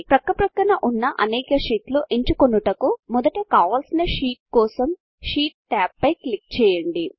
పక్కపక్కన ఉన్న అనేక షీట్లను ఎంచుకొనుటకు మొదటి కావలసిన షీట్ కోసం షీట్ టాబ్ పై క్లిక్ చేయండి